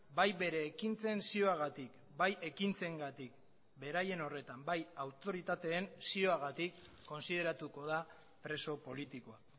bai bere ekintzen zioagatik bai ekintzengatik beraien horretan bai autoritateen zioagatik kontsideratuko da preso politikoa